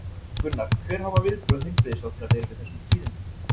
Gunnar, hver hafa viðbrögð heilbrigðisráðherra verið við þessum tíðindum?